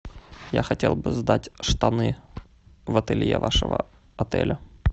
я хотел бы сдать штаны в ателье вашего отеля